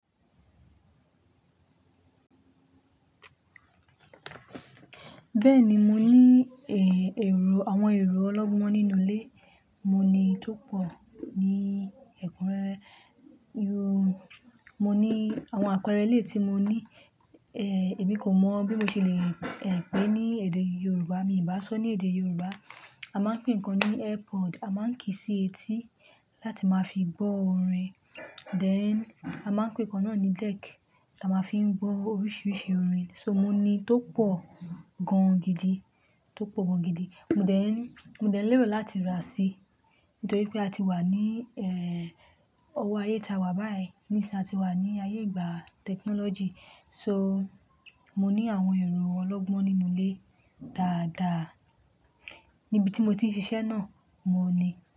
Bẹ́ẹ̀ni, mo ní èrò, àwọn èrò ọlọ́gbọ́n nínú ilé. Mo ní tó pọ̀ ní ẹ̀kúnrẹ́re. Mo ní àwọn àpẹẹrẹ eléyi tí mo ní, èmi kò mọ bí mo ṣe le pè ní èdè Yorùbá. Mi bá sọ ní èdè Yorùbá, a máa ń pè ìkan ní airpod, a máa ń kì í sí etí láti máa fi gbọ́ orin. Then, a máa ń pè ìkan náà ní deck tí a máa ń fi gbọ́ oríṣiríṣi orin. So, mo ní tó pọ̀ gan gidi, tó pọ̀ gan gidi mo dẹ̀ ń. Mo dẹ̀ ń lérò láti ra sí nítorí pé a ti wà ní ọwọ́ ayé ta wà báyìí, ní sin i a ti wà ní ayé ìgbà technology. So, mo ní àwọn èrò ọlọ́gbọ́n nínú ilé dáadáa. Níbi tí mo ti ń ṣiṣẹ́ náà, òun ní.